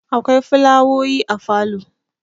akwai fulawoyi a falo